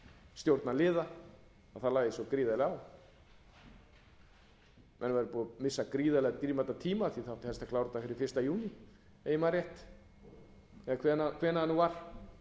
stjórnarliða að það lægi svo gríðarlega á menn væru búnir að missa svo gríðarlega dýrmætan tíma af því að það átti að klára þetta fyrir fyrsta júní ef ég man rétt eða hvenær það var